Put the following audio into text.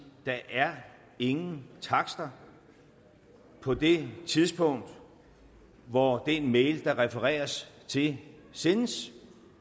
der er ingen takster på det tidspunkt hvor den mail der refereres til sendes